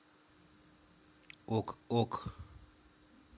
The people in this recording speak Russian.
ок ок